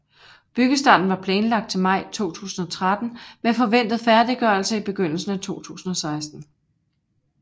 Byggestarten var planlagt til maj 2013 med forventet færdiggørelse i begyndelsen af 2016